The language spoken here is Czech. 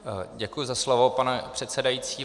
Děkuji za slovo, pane předsedající.